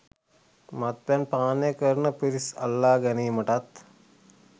මත්පැන් පානය කරන පිරිස් අල්ලා ගැනීමටත්,